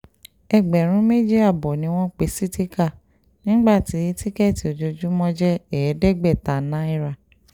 ẹgbẹ̀rún méjì ààbọ̀ ni wọ́n pè sítìkà nígbà tí tíkẹ́ẹ̀tì ojoojúmọ́ jẹ́ ẹ̀ẹ́dẹ́gbẹ̀ta náírà